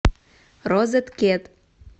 розеткед